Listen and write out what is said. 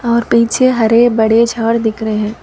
और पीछे हर भरे झाड़ दिख रहे हैं।